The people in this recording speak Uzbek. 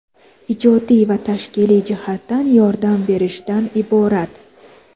ijodiy va tashkiliy jihatdan yordam berishdan iborat.